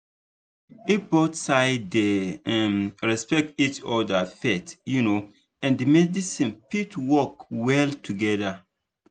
if both sides dey um respect each other faith um and medicine fit work well together.